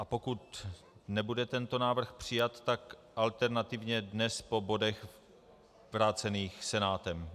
A pokud nebude tento návrh přijat, tak alternativně dnes po bodech vrácených Senátem.